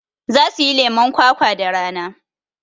Za suyi lemon kwakwa da rana